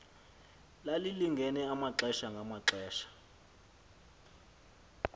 lalilinge amaxesha ngamaxesha